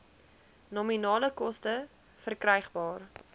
nominale koste verkrygbaar